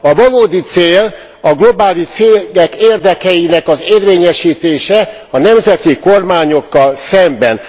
A valódi cél a globális cégek érdekeinek az érvényesítése a nemzeti kormányokkal szemben.